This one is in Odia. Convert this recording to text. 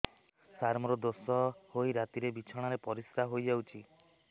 ସାର ମୋର ଦୋଷ ହୋଇ ରାତିରେ ବିଛଣାରେ ପରିସ୍ରା ହୋଇ ଯାଉଛି